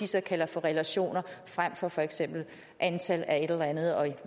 så kalder for relationer frem for for eksempel antal af et eller andet